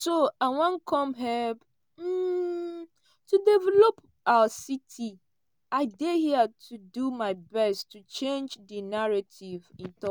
"so i wan come help um to develop our city i dey here to do my best to change di narrative" e tok.